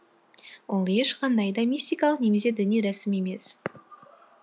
ол ешқандай да мистикалық немесе діни рәсім емес